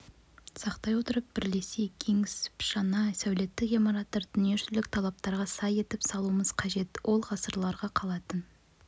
сақтай отырып бірлесе кеңесіпжаңа сәулеттік ғимараттарды дүниежүзілік талаптарға сай етіп салуымыз қажет ол ғасырларға қалатын